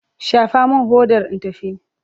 Shafa min hodar in tafi!